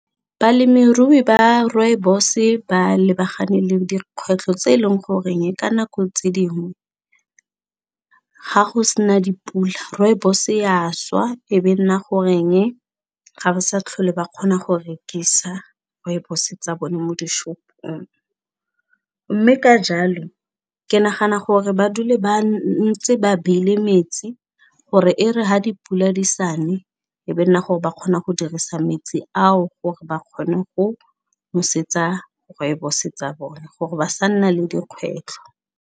Balemirui ba rooibos-e ba lebagane le dikgwetlho tse e leng goreng ka nako tse dingwe ga go se na dipula rooibos-e ya šwa e be nna goreng ga ba sa tlhole ba kgona go rekisa rooibos tsa bone mo dishopong mme ka jalo ke nagana gore ba dule ba ntse ba beile metsi gore e re ha dipula di sa ne e be nna gore ba kgona go dirisa metsi ao gore ba kgone go nosetsa rooibos tsa bone gore ba sa nna le dikgwetlho.